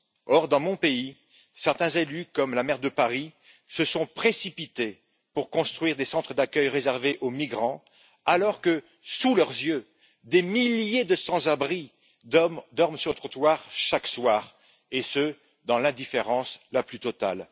Or, dans mon pays, certains élus comme la maire de Paris se sont précipités pour construire des centres d'accueil réservés aux migrants alors que, sous leurs yeux, des milliers de sans abris dorment sur le trottoir chaque soir et ce, dans l'indifférence la plus totale.